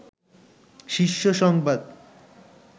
শীর্ষ সংবাদ